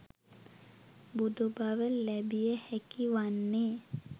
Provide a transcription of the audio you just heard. බුදු බව ලැබිය හැකි වන්නේ